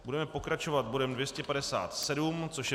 Budeme pokračovat bodem 257, což je